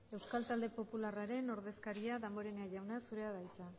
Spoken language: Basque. euskal talde popularraren ordezkaria damborena jauna zurea da hitza